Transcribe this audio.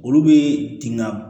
Olu bɛ tin ka